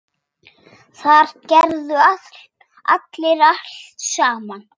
Þar gerðu allir allt saman.